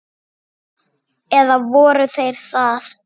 Eða voru þeir það?